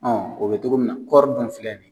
o bɛ togo min na kɔɔri dun filɛ nin.